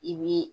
I bi